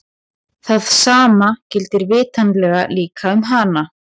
Það sama gildir vitanlega líka um hana!